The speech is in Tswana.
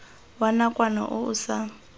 wa nakwana o o sa